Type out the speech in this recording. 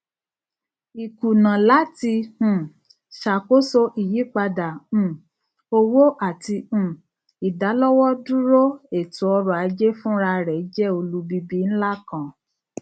ikuna lati um ṣakoso iyipada um owo ati um idalọwọduro etoọrọ aje funrarẹ jẹ olubibi nla kan